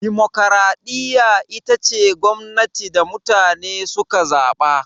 Dimokuraɗiyya ita ce gwamnatin da mutane suka zaɓa